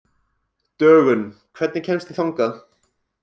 Dögun, hvernig kemst ég þangað?